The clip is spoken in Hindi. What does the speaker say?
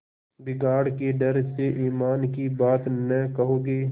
बिगाड़ के डर से ईमान की बात न कहोगे